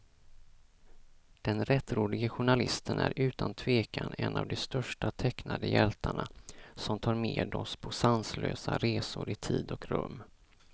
Den rättrådige journalisten är utan tvekan en av de största tecknade hjältarna, som tar med oss på sanslösa resor i tid och rum.